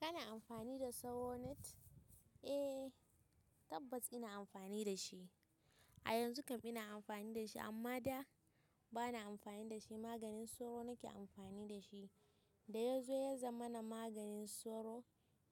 Kana ammfani da sauro net? Eh tabbas ina amfani da shi. A yanzu kam ina amfani da shi amma da ba na amfani da shi. Maganin sauro nake amfani da shi. Da ya zo ya zama na maganin sauro.